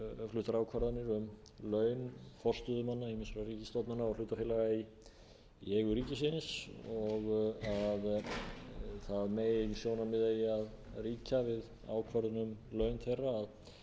fluttar ákvarðanir um laun forstöðumanna ýmissa ríkisstofnana og hlutafélaga í eigu ríkisins og það sjónarmið eigi að ríkja við ákvörðun um laun þeirra að þau séu